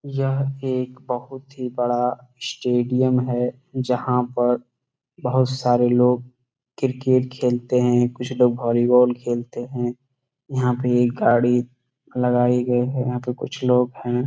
यह एक बहुत बड़ा स्टेडियम है जहां पर बहुत सारे लोग क्रिकेट खेलते हैं कुछ लोग वॉलीबॉल भी खेलते हैं यहां पे एक गाड़ी लगाए गए हैं यहां पर कुछ लोग हैं।